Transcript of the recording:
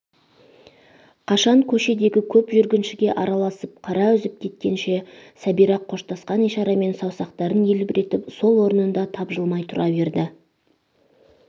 қашан көшедегі көп жүргіншіге араласып қара үзіп кеткенше сәбира қоштасқан ишарамен саусақтарын елбіретіп сол орында тапжылмай тұра берді